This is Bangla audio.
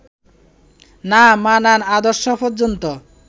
না-মানার আদর্শ পর্যন্ত